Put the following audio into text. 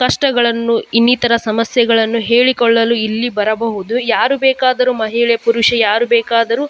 ಕಷ್ಟಗಳನ್ನು ಇನ್ನಿತರ ಸಮಸ್ಯೆಗಳನ್ನು ಹೇಳಿ ಕೊಳ್ಳಲು ಇಲ್ಲಿ ಬರಬಹುದು ಯಾರು ಬೇಕಾದರೂ ಮಹಿಳೆ ಪುರುಷ ಯಾರು ಬೇಕಾದರೂ --